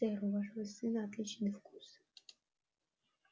сэр у вашего сына отличный вкус